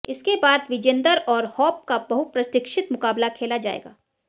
इसके बाद विजेन्दर और होप का बहुप्रतीक्षित मुकाबला खेला जाएगा